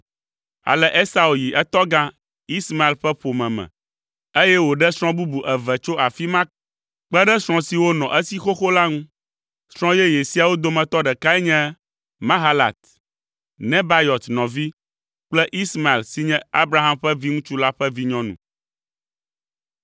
Ale Esau yi etɔgã, Ismael ƒe ƒome me, eye wòɖe srɔ̃ bubu eve tso afi ma kpe ɖe srɔ̃ siwo nɔ esi xoxo la ŋu. Srɔ̃ yeye siawo dometɔ ɖekae nye Mahalat, Nebayɔt nɔvi kple Ismael si nye Abraham ƒe viŋutsu la ƒe vinyɔnu.